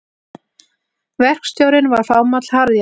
Verkstjórinn var fámáll harðjaxl.